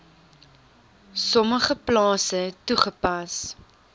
sommige plase toegepas